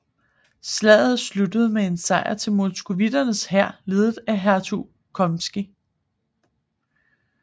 Slaget sluttede med sejr til moskovitternes hær ledet af hertug Kholmskij